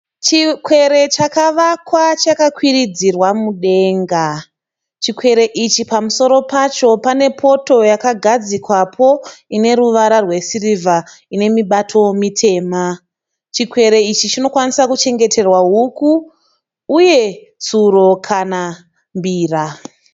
Chikwere chakavakwa chakakwiridzirwa mudenga. Chikwere ichi pamusoro pacho pane poto yakagadzikwapo ine ruvara rwesirivha ine mibato mitema. Chikwere ichi chinokwanisa kuchengeterwa huku uye tsuro kana mbira.